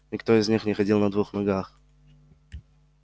никто из них не ходил на двух ногах